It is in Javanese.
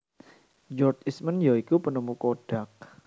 George Eastman ya iku penemu kodak